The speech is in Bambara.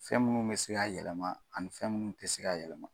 Fɛn munnu be se ka yɛlɛma ani fɛn munnu te se ka yɛlɛma.